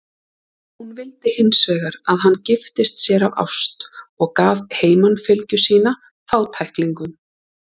Hún vildi hins vegar að hann giftist sér af ást og gaf heimanfylgju sína fátæklingum.